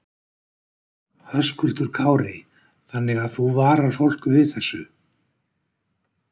Höskuldur Kári: Þannig að þú varar fólk við þessu?